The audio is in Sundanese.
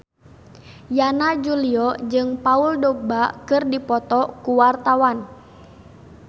Yana Julio jeung Paul Dogba keur dipoto ku wartawan